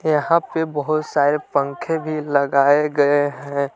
यहां पे बहुत सारे पंखे भी लगाए गए हैं।